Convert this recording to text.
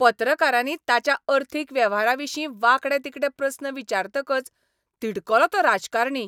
पत्रकारांनी ताच्या अर्थीक वेव्हारांविशीं वांकडे तिकडे प्रस्न विचारतकच तिडकलो तो राजकारणी!